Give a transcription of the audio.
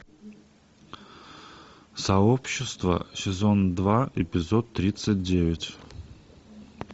сообщество сезон два эпизод тридцать девять